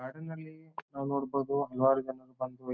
car ಇನಲ್ಲಿ ನಾವ್ ನೋಡಬಹುದು ಹಲವಾರು ಜನರು ಬಂದು ಹೊಯ್ --